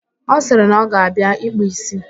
Ọ sịrị na ọ ga-abịa ịkpụ ísí